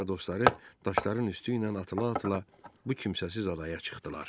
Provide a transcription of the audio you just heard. Kiver və dostları daşların üstü ilə atıla-atıla bu kimsəsiz adaya çıxdılar.